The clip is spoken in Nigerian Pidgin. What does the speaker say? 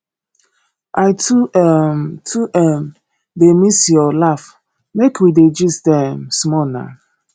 i too um too um dey miss your laugh make we dey gist um small nah